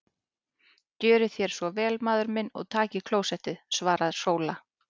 Gjörið þér svo vel maður minn og takið klósettið, svaraði Sóla.